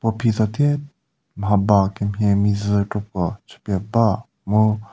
uphi tsate mhaba kemhie meijü kropuo chüpie ba mu--